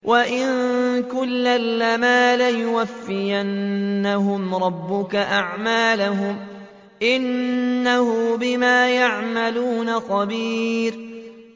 وَإِنَّ كُلًّا لَّمَّا لَيُوَفِّيَنَّهُمْ رَبُّكَ أَعْمَالَهُمْ ۚ إِنَّهُ بِمَا يَعْمَلُونَ خَبِيرٌ